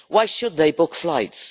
Why should they book flights?